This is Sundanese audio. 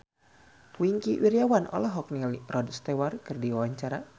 Wingky Wiryawan olohok ningali Rod Stewart keur diwawancara